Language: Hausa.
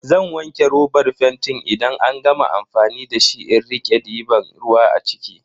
Zan wanke robar fentin idan an gama amfani da shi in rike diban ruwa a ciki.